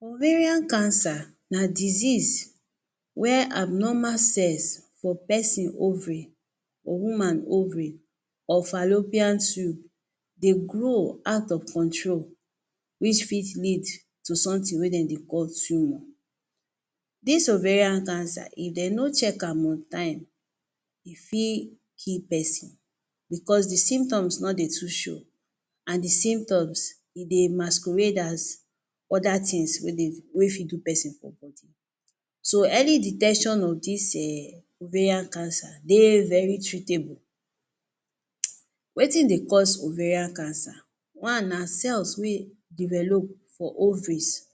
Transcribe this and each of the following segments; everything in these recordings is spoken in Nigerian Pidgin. Ovarian cancer na disease where abnormal cells for pesin ovary or woman ovary or fallopian tube dey grow out of control, which fit lead to something wey dem dey call tumour. Dis ovarian cancer, if de no check am on time, e fit kill person because the symptoms no dey too show and the symptoms, e dey masquerade as other things wey dey wey fit do person for body. So early detection of this um ovarian cancer, dey very treatable. um Wetin dey cause ovarian cancer? One na cells wey develop for ovaries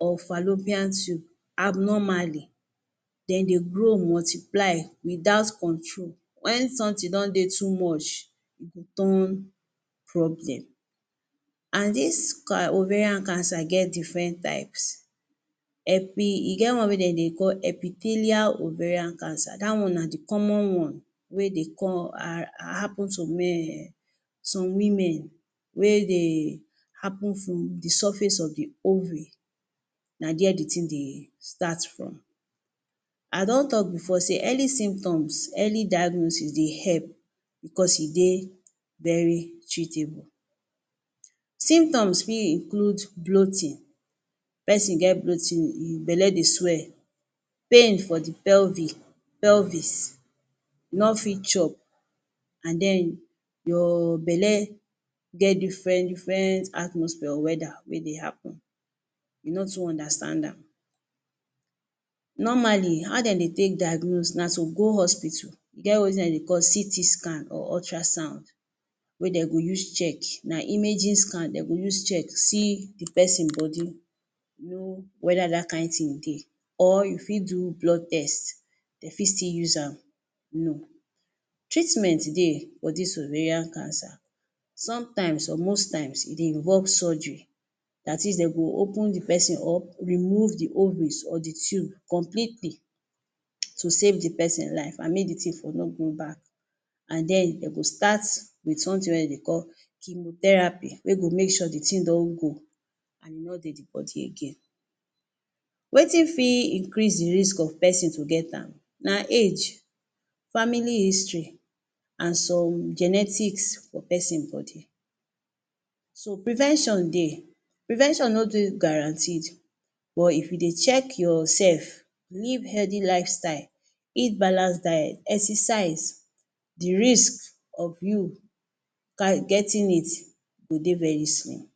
or fallopian tube abnormally. De dey grow multiply without control. When something don dey too much, e go turn problem. And dis ca ovarian cancer get different types. Epi, e get one wey de dey call epithelial ovarian cancer. Dat one na the common one wey dey con um happen to men, some women wey dey happen from the surface of the ovary. Na dere the thing dey start from. I don talk before sey early symptoms, early diagnosis dey help because e dey very treatable. Symptoms fit include bloating. Pesin get bloating, e belly dey swell, pain for the pelvic, pelvis, no fit chop, and den your belly get different different atmosphere or weather wey dey happen. You no too understand am. um Normally, how de dey take diagnosis? Na to go hospital, e get wetin de dey call CT scan or ultrasound, wey de go use check. Na imaging scan de go use a check, see the pesin body know whether dat kind thing dey. Or you fit do blood test, de fit still use am know. Treatment dey for dis ovarian cancer. Sometimes or most times, e dey involve surgery. Dat is, de go open the person up, remove the ovaries or the tube completely to save the pesin life and make the thing for no going back. And den de go start with something wey de dey call chemotherapy, wey go make sure the thing don go and e no dey the body again. Wetin fit increase the risk of pesin to get am? Na age, family history, and some genetics for pesin body. So prevention dey. Prevention no dey guaranteed but if you dey check yourself, live healthy lifestyle, eat balanced diet, exercise, the risk of you getting it go dey very small.